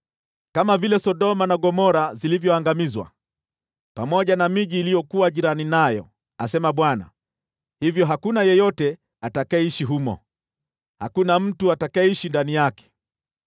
Kama vile Sodoma na Gomora zilivyoangamizwa, pamoja na miji iliyokuwa jirani nayo,” asema Bwana , “vivyo hivyo hakuna mtu yeyote atakayeishi humo. Naam, hakuna mtu yeyote atakayekaa humo.